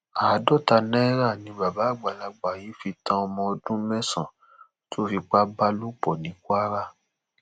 àádọta náírà ni bàbá àgbàlagbà yìí fi tan ọmọ ọdún mẹsànán tó fipá bá lò pọ ní kwara